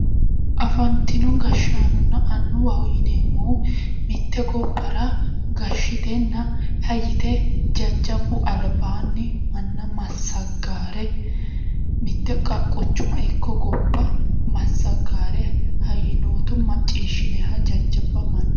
Afanitino gashaanonna annuwaho yineemohu mitt gobara gashitenna ha yite jajjabu alibaanni manna masagaare mitte quchuma Ikko gobba masagaare ha yinooto maciishinayiha jajjaba manna